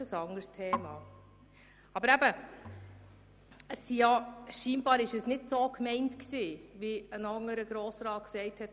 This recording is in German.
Anscheinend sei es nicht so gemeint, wie ein anderer Grossrat der glp ausgeführt hat.